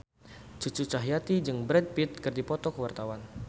Cucu Cahyati jeung Brad Pitt keur dipoto ku wartawan